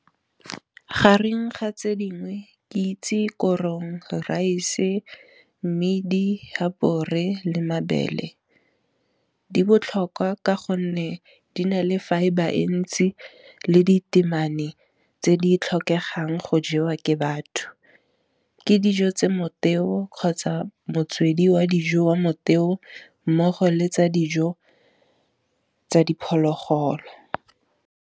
Gareng ga tse dingwe ke itse korong, raese mmidi, habore le mabele. Di botlhokwa ka gonne di na le fibre e ntsi le di temane tse di tlhokegang go jewa ke batho. Ke dijo tse moteo kgotsa motswedi wa dijo wa moteo mmogo le tsa dijo tsa diphologolo.